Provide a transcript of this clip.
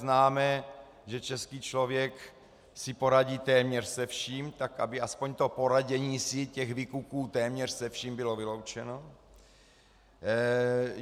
Známe, že český člověk si poradí téměř se vším, tak aby aspoň to poradění si těch vykuků téměř se vším bylo vyloučeno.